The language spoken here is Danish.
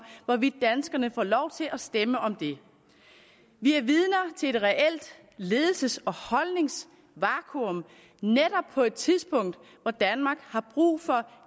hvorvidt danskerne får lov til at stemme om det vi er vidner til et reelt ledelses og holdningsvakuum netop på et tidspunkt hvor danmark har brug for